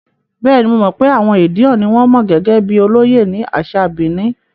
Bẹ́ẹ̀ni, mo mọ̀ pé àwọn Edion ni wọn mọ̀ gẹ́gẹ́ bíi olóyè ní àṣà Benin.